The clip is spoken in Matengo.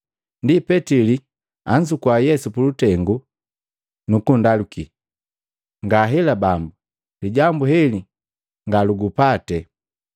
Ndi Petili anzuku Yesu pulutengu nukundakali, “Ngahela Bambu! Lijambu heli nga lugupate!”